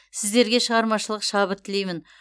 сіздерге шығармашылық шабыт тілеймін